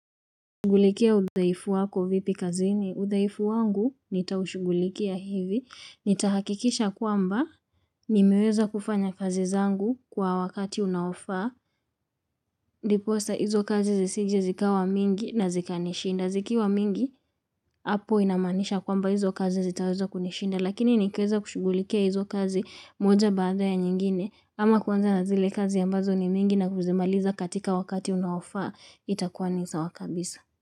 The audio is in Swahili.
Udhaifu wako vipi kazini? Udhaifu wangu nitaushugulikia hivi. Nitahakikisha kwamba nimeweza kufanya kazi zangu kwa wakati unaoafaa. Ndiposa hizo kazi zisije zikawa mingi na zikanishinda. Zikiwa mingi, hapo inamaanisha kwamba hizo kazi zitaweza kunishinda. Lakini nikiweza kushughulikia hizo kazi moja baada ya nyingine ama kuanza na zile kazi ambazo ni mingi na kuzimaliza katika wakati unaofaa. Itakuwa ni sawa kabisa.